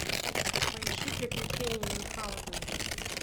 поищи приключения мюнхаузена